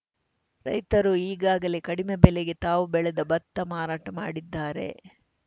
ರೈತರು ಈಗಾಗಲೇ ಕಡಿಮೆ ಬೆಲೆಗೆ ತಾವು ಬೆಳೆದ ಭತ್ತ ಮಾರಾಟ ಮಾಡಿದ್ದಾರೆ